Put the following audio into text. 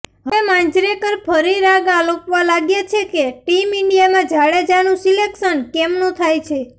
હવે માંજરેકર ફરી રાગ આલોપવા લાગ્યા છે કે ટીમ ઈન્ડીયામાં જાડેજાનું સિલેકશન કેમનું થાય છે